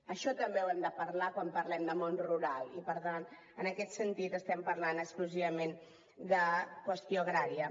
això també ho hem de parlar quan parlem de món rural i per tant en aquest sentit estem parlant exclusivament de qüestió agrària